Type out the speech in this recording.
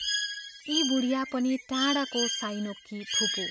यी बुढिया पनि टाढाको साइनोकी फुपू।